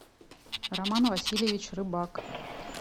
роман васильевич рыбак